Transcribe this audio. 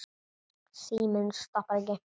Síminn stoppar ekki.